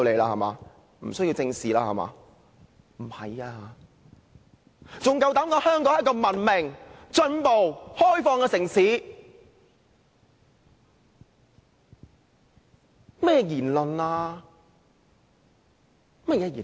他們還敢膽說香港是一個文明、進步、開放的城市，這是甚麼言論？